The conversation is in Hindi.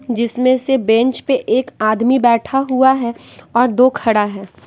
जिसमें से बेंच पे एक आदमी बैठा हुआ है और दो खड़ा हैं।